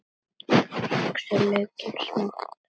Saxið laukinn smátt.